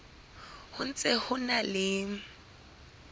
ho ntse ho na le